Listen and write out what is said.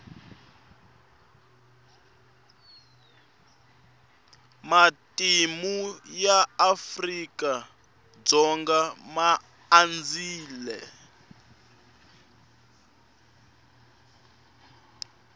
matimu ya afrika dzonga ma andzile